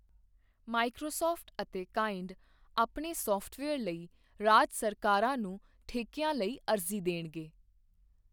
Microsoft ਅਤੇ ਕਾਇੰਡ ਆਪਣੇ ਸਾਫਟਵੇਅਰ ਲਈ ਰਾਜ ਸਰਕਾਰਾਂ ਨੂੰ ਠੇਕਿਆਂ ਲਈ ਅਰਜ਼ੀ ਦੇਣਗੇ।